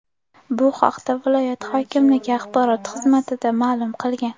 Bu haqda viloyat hokimligi axborot xizmati ma’lum qilgan .